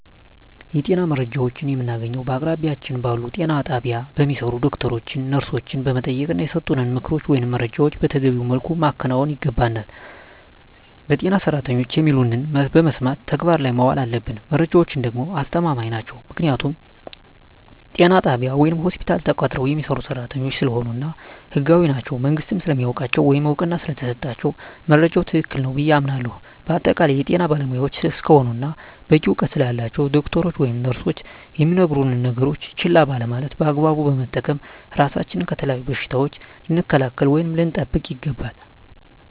የጤና መረጃዎችን የምናገኘዉ በአቅራቢያችን ባሉ ጤና ጣቢያ በሚሰሩ ዶክተሮችን ነርሶችን በመጠየቅና የሰጡንን ምክሮች ወይም መረጃዎችን መተገቢዉ መልኩ ማከናወን ይገባናል በጤና ሰራተኖች የሚሉትን በመስማት ተግባር ላይ ማዋል አለብን መረጃዎች ደግሞ አስተማማኝ ናቸዉ ምክንያቱም ጤና ጣቢያ ወይም ሆስፒታል ተቀጥረዉ የሚሰሩ ሰራተኞች ስለሆኑ እና ህጋዊም ናቸዉ መንግስትም ስለሚያዉቃቸዉ ወይም እዉቅና ስለተሰጣቸዉ መረጃዉ ትክክል ነዉ ብየ አምናለሁ በአጠቃላይ የጤና ባለሞያዎች እስከሆኑና በቂ እዉቀት ስላላቸዉ ዶክተሮች ወይም ነርሶች የሚነግሩነን ነገሮች ችላ ባለማለት በአግባቡ በመጠቀም ራሳችንን ከተለያዩ በሽታዎች ልንከላከል ወይም ልንጠብቅ ይገባል